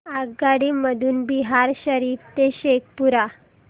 आगगाडी मधून बिहार शरीफ ते शेखपुरा